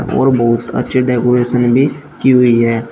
और बहुत अच्छे डेकोरेशन भी की हुई है।